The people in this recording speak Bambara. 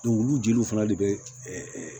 olu jeliw fana de be ɛ